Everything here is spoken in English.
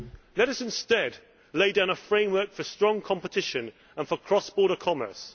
Let us instead lay down a framework for strong competition and for cross border commerce.